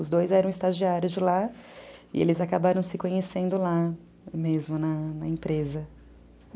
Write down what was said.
Os dois eram estagiários de lá e eles acabaram se conhecendo lá mesmo, na na empresa.